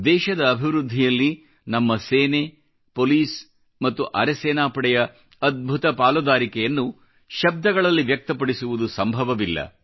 ದೇಶದ ಅಭಿವೃದ್ಧಿಯಲ್ಲಿ ನಮ್ಮ ಸೇನೆ ಪೋಲಿಸ್ ಮತ್ತು ಅರೆ ಸೇನಾಪಡೆಯ ಅದ್ಭುತ ಪಾಲುದಾರಿಕೆಯನ್ನು ಶಬ್ದಗಳಲ್ಲಿ ವ್ಯಕ್ತಪಡಿಸುವುದು ಸಂಭವವಿಲ್ಲ